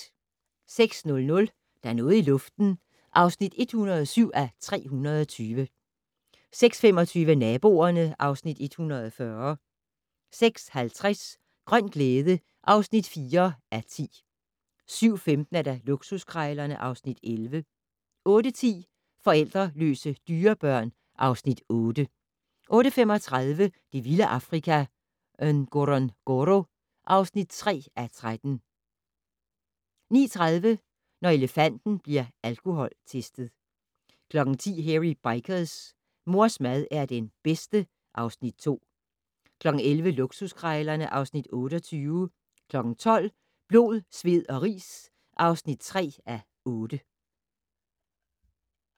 06:00: Der er noget i luften (107:320) 06:25: Naboerne (Afs. 140) 06:50: Grøn glæde (4:10) 07:15: Luksuskrejlerne (Afs. 11) 08:10: Forlældreløse dyrebørn (Afs. 8) 08:35: Det vilde Afrika - Ngorongoro (3:13) 09:30: Når elefanten bliver alkoholtestet 10:00: Hairy Bikers: Mors mad er den bedste (Afs. 2) 11:00: Luksuskrejlerne (Afs. 28) 12:00: Blod, sved og ris (3:8)